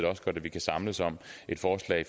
vi kan samles om et forslag